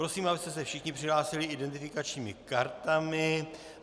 Prosím, abyste se všichni přihlásili identifikačními kartami.